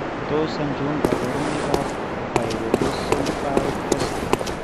Tos achon kabarunaik ab Pyridoxal 5' phosphate ?